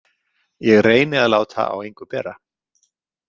Ég reyni að láta á engu bera.